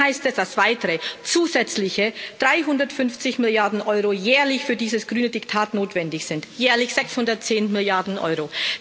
Nun heißt es, dass weitere, zusätzliche 350 Milliarden Euro jährlich für dieses grüne Diktat notwendig sind jährlich 610 Milliarden Euro.